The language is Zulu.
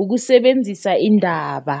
ukusebenzisa indaba.